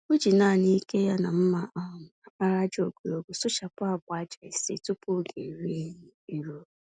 O ji nanị ike ya na mma um àkpàràjà ogologo sụchapụ agba-ájá ise tupu ógè nri ehihie eruo.